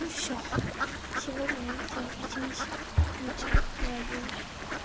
ну всё сегодня я на тебя обиделась вечером не обижусь